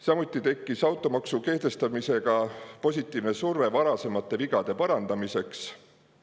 Samuti tekkis automaksu kehtestamisega positiivne surve varasemate vigade parandamiseks.